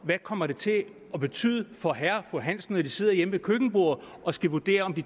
det kommer til at betyde for herre og fru hansen når de sidder hjemme ved køkkenbordet og skal vurdere om de